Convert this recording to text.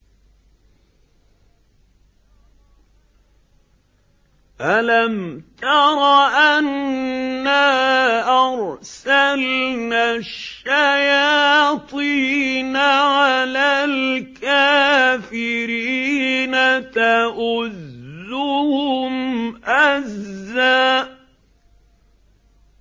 أَلَمْ تَرَ أَنَّا أَرْسَلْنَا الشَّيَاطِينَ عَلَى الْكَافِرِينَ تَؤُزُّهُمْ أَزًّا